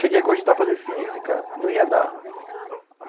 Cheguei a cogitar fazer física, não ia dar.